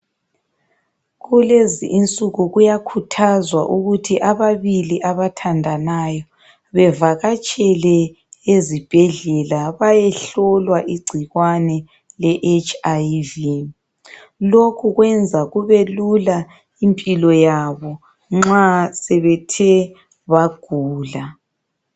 Kulezi insuku kuyakhuthazwa ukuthi ababili abathandanayo bevakatshele ezibhedlela bayehlohlwa igcikwane le HIV lokhu kwenza kube lula impilo yabo nxa sebethe bagula.